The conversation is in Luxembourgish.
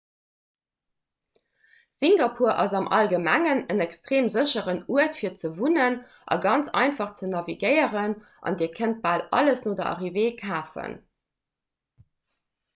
singapur ass am allgemengen en extreem sécheren uert fir ze wunnen a ganz einfach ze navigéieren an dir kënnt bal alles no der arrivée kafen